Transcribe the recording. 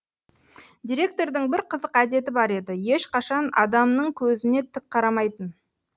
директордың бір қызық әдеті бар еді ешқашан адамның көзіне тік қарамайтын